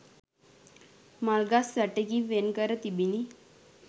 මල්ගස් වැටකින් වෙන්කර තිබිණි